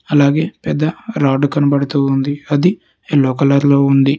అలాగే పెద్ద రాడ్ కనబడుతూ ఉంది అది ఎల్లో కలర్లో ఉంది.